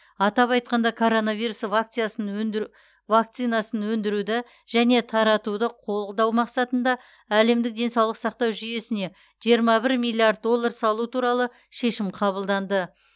атап айтқанда коронавирус вакциясын өнді вакцинасын өндіруді және таратуды қолдау мақсатында әлемдік денсаулық сақтау жүйесіне жиырма бір миллиард доллар салу туралы шешім қабылданды